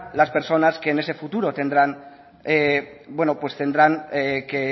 las personas que en ese futuro tendrán bueno pues tendrán que